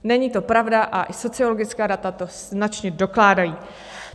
Není to pravda a i sociologická data to značně dokládají.